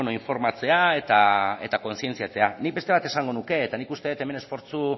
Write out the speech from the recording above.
informatzea eta kontzientzia nik beste bat esango nuke eta nik uste dut hemen esfortzu